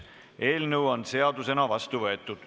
Eelnõu on seadusena vastu võetud.